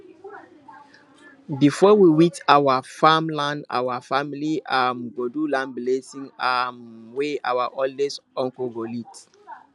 before we weed our farm land our family um go do land blessing um wey our oldest uncle go lead